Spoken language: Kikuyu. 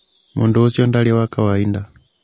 Mũndũ ũcio ndarĩ wa kawainda.